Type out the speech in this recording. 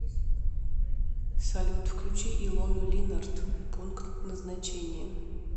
салют включи илону линарт пункт назначения